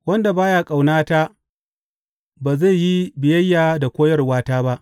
Wanda ba ya ƙaunata ba zai yi biyayya da koyarwata ba.